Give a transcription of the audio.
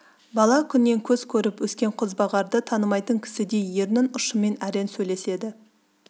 бала күннен көз көріп өскен қозбағарды танымайтын кісідей ерін ұшымен әрең сөйлеседі